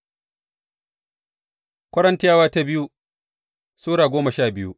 biyu Korintiyawa Sura goma sha biyu